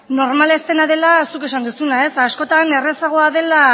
normala ez dena dela zuk esan duzuna askotan errazagoa dela